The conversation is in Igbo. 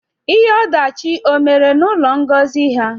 Ihe odachị o mere na ụlọ Ngozi ha?